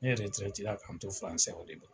Ne yɛrɛtɛrɛtela k'an to fransɛ o de bolo.